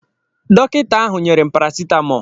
Dọkịta ahụ yéré'm paracetamol.